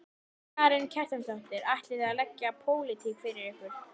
Karen Kjartansdóttir: Ætlið þið að leggja pólitík fyrir ykkur?